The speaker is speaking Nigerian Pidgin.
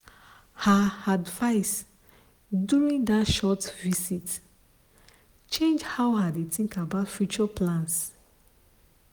her advice during that short visit change how i dey think about future plans.